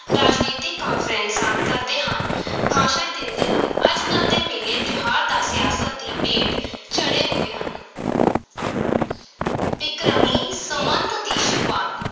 ਰਾਜਨੀਤਕ ਕਾਨਫ਼ਰੰਸਾਂ ਕਰਦੇ ਹਨ ਭਾਸ਼ਣ ਦਿੰਦੇ ਹਨ, ਅੱਜ-ਕੱਲ੍ਹ ਦੇ ਮੇਲੇ ਤਿਉਹਾਰ ਤਾਂ ਸਿਆਸਤ ਦੀ ਭੇਟ ਚੜ੍ਹੇ ਹੋਏ ਹਨ ਬਿਕਰਮੀ ਸੰਮਤ ਦੀ ਸ਼ੁਰੂਆਤ